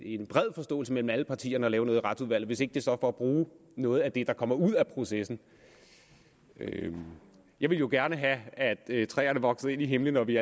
en bred forståelse mellem alle partierne om at lave noget i retsudvalget hvis ikke det så er for at bruge noget af det der kommer ud af processen jeg ville jo gerne have at træerne voksede ind i himlen og vi